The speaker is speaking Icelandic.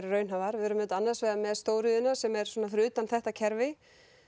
raunhæfar við erum auðvitað annars vegar með stóriðjuna sem er svona fyrir utan þetta kerfi